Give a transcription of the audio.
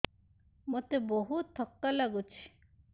ମୋତେ ବହୁତ୍ ଥକା ଲାଗୁଛି